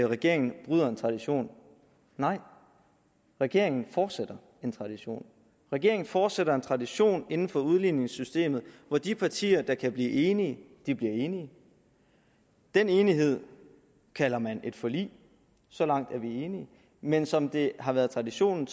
regeringen bryder en tradition nej regeringen fortsætter en tradition regeringen fortsætter en tradition inden for udligningssystemet hvor de partier der kan blive enige bliver enige den enighed kalder man et forlig så langt er vi enige men som det har været traditionen